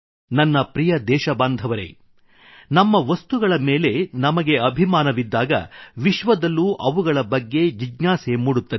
ನನ್ನ ಪ್ರಿಯ ದೇಶಬಾಂಧವರೆ ನಮ್ಮ ವಸ್ತುಗಳ ಮೇಲೆ ನಮಗೆ ಅಭಿಮಾನವಿದ್ದಾಗ ವಿಶ್ವದಲ್ಲೂ ಅವುಗಳ ಬಗ್ಗೆ ಜಿಜ್ಞಾಸೆ ಮೂಡುತ್ತದೆ